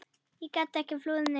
Ég gat ekki flúið neitt.